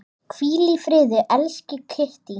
Hvíl í friði, elsku Kittý.